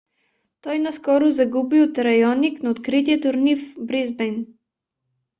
той наскоро загуби от раоник на открития турнир в бризбейн